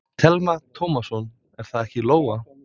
Telma Tómasson: Er það ekki Lóa?